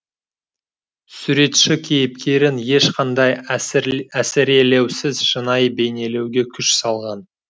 суретші кейіпкерін ешқандай әсірелеусіз шынайы бейнелеуге күш салған